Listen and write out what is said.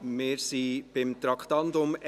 Wir sind beim Traktandum 41: